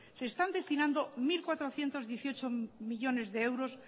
se están destinando mil cuatrocientos dieciocho millónes de euros